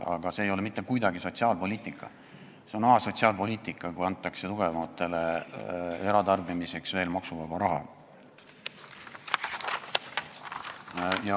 Aga see ei ole mitte kuidagi sotsiaalpoliitika, see on asotsiaalpoliitika, kui antakse tugevamatele eratarbimiseks veel maksuvaba raha.